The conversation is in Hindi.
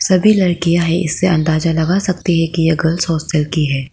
सभी लड़कियां हैं इससे अंदाजा लगा सकती है कि यह गर्ल्स हॉस्टल की है।